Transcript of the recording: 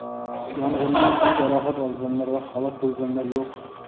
Yong‘indan tan jarohati olganlar va halok bo‘lganlar yo‘q.